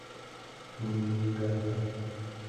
ниигата